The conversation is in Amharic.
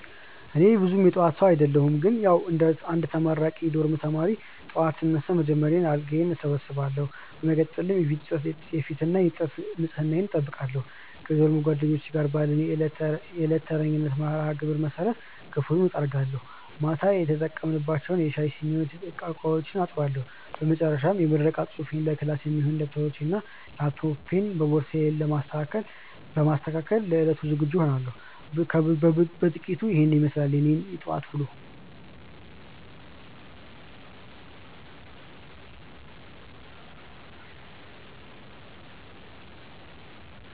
እኔ ብዙም የጠዋት ሰው አደለሁም ግን ያዉ እንደ አንድ ተመራቂ የዶርም ተማሪ፣ ጠዋት ስነሳ በመጀመሪያ አልጋዬን እሰበስባለሁ። በመቀጠል የፊትና የጥርስ ንጽህናዬን እጠብቃለሁ። ከዶርም ጓደኞቼ ጋር ባለን የዕለት ተረኛነት መርሃግብር መሰረት ክፍሉን እጠርጋለሁ፤ ማታ የተጠቀምንባቸውን የሻይ ሲኒዎችና ዕቃዎችም አጥባለሁ። በመጨረሻም የምረቃ ፅሁፌንና ለክላስ የሚሆኑ ደብተሮቼንና ላፕቶፔን በቦርሳዬ በማስተካከል ለዕለቱ ዝግጁ እሆናለሁ። ከብዙ በጥቂቱ ኢሄን ይመስላል የኔ የጠዋት ዉሎ።